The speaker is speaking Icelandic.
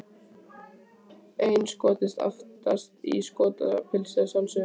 Einn Skoti aftast, í Skotapilsi að sjálfsögðu!